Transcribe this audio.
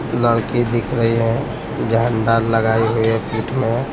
लड़की दिख रही है झंडा लगाए हुए पीठ में।